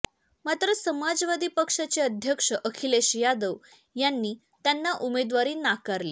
मात्र समाजवादी पक्षाचे अध्यक्ष अखिलेश यादव यांनी त्यांना उमेदवारी नाकारली